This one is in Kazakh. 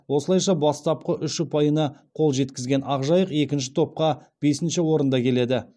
осылайша бастапқы үш ұпайына қол жеткізген ақжайық екінші топта бесінші орында келеді